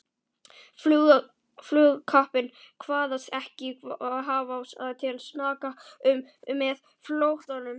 Flugkappinn kvaðst ekkert hafa til saka unnið með flóttanum.